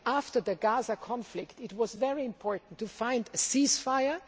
After the Gaza conflict, it was very important to obtain a ceasefire.